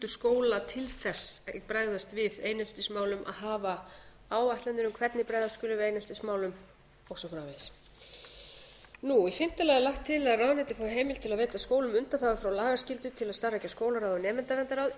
skóla til þess að bregðast við eineltismálum að hafa áætlanir um hvernig bregðast skuli við eineltismálum og svo framvegis í fimmta lagi er lagt til að ráðuneytið fái heimild til að veita skólum undanþágu frá lagaskyldu til að starfrækja skólaráð og nemendaverndarráð ef